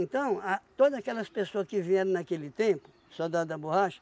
a todas aquelas pessoas que vieram naquele tempo, soldado da borracha,